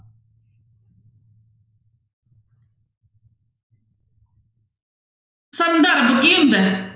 ਸੰਦਰਭ ਕੀ ਹੁੰਦਾ ਹੈ?